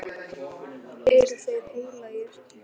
Eru þeir heilagir?